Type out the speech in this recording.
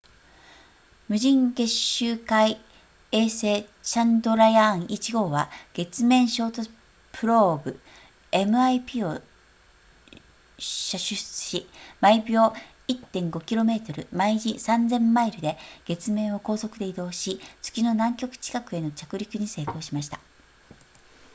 無人月周回衛星チャンドラヤーン1号は月面衝突プローブ mip を射出し毎秒 1.5 km 毎時3000マイルで月面を高速で移動し月の南極近くへの着陸に成功しました